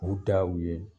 U daw ye